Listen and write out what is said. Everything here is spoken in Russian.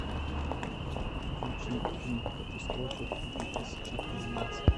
включи фильм катастрофу две тысячи двенадцать